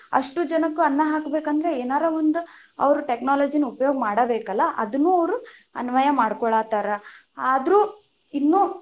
ಅಷ್ಟು ಜನಕ್ಕ ಅನ್ನಾ ಹಾಕ್ಬೇಕಂದ್ರ ಏನಾರ ಒಂದು ಅವ್ರು technology ನ ಉಪಯೋಗ ಮಾಡಬೇಕಲ್ಲಾ, ಅದನ್ನು ಅವ್ರು ಅನ್ವಯ ಮಾಡ್ಕೊಳತಾರ ಆದ್ರು ಇನ್ನು.